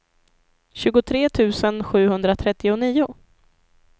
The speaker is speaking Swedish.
tjugotre tusen sjuhundratrettionio